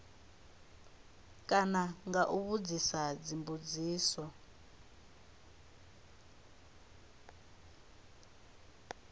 kana nga u vhudzisa dzimbudziso